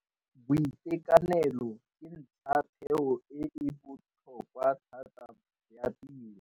Boitekanelo ke ntlhatheo e e botlhokwa thata ya tiro.